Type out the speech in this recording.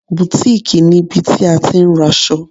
Bùtíìkì níbi tí a ti ń raṣọ.